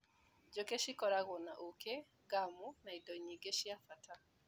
Njũkĩ cikoragwo na ũkĩ, ngamu na indo nyingĩ cia bata.